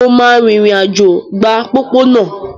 Mo máa rìnrìn-àjò gba pópónà